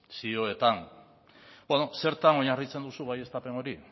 zioetan zertan oinarritzen duzu baieztapen hori